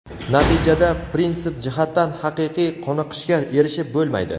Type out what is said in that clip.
natijada prinsip jihatdan haqiqiy qoniqishga erishib bo‘lmaydi.